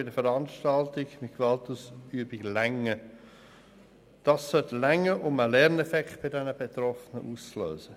Dies sollte genügen, um einen Lerneffekt bei den Betroffenen auszulösen.